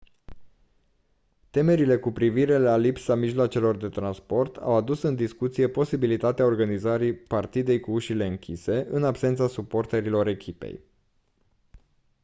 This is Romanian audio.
temerile cu privire la lipsa mijloacelor de transport au adus în discuție posibilitatea organizării partidei cu ușile închise în absența suporterilor echipei